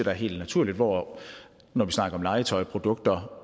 er helt naturligt hvor det når vi snakker om legetøj produkter